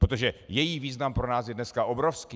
Protože její význam pro nás je dneska obrovský.